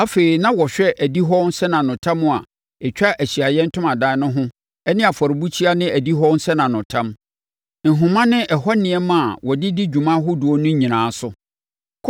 Afei, na wɔhwɛ adihɔ nsɛnanotam a ɛtwa Ahyiaeɛ Ntomadan no ho ne afɔrebukyia ne adihɔ nsɛnanotam, nhoma ne ɛhɔ nneɛma a wɔde di dwuma ahodoɔ no nyinaa so.